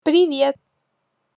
привет